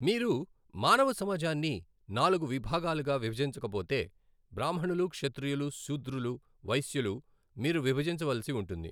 మీరు మానవ సమాజాన్ని నాలుగు విభాగాలుగా విభజించకపోతే బ్రాహ్మణులు క్షత్రియులు శూద్రులు వైశ్యులు మీరు విభజించవలసి ఉంటుంది.